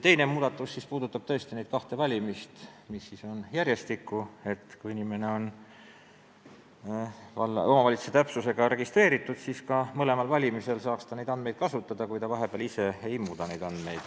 Teine muudatus puudutab tõesti neid kahtesid valimisi, mis on järjestikku: kui inimene on omavalitsuse täpsusega registreeritud, siis saab ta mõlematel valimistel oma elukohaandmeid kasutada, kui ta neid vahepeal ise ei muuda.